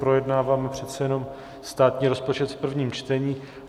Projednáváme přece jenom státní rozpočet v prvním čtení.